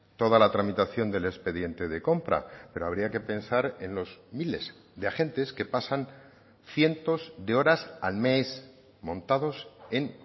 toda la tramitación del expediente de compra pero habría que pensar en los miles de agentes que pasan cientos de horas al mes montados en